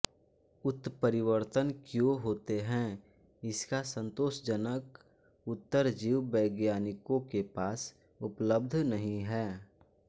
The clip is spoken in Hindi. उत्परिवर्तन क्यों होते हैं इसका संतोषजनक उतर जीव वैज्ञानिकों के पास उपलब्ध नहीं है